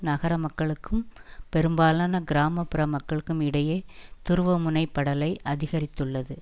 நகரமக்களுக்கும் பெரும்பாலான கிராம புற மக்களுக்கும் இடையே துருவமுனை படலை அதிகரித்துள்ளது